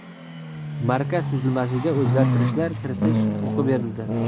markaz tuzilmasiga o‘zgartirishlar kiritish huquqi berildi.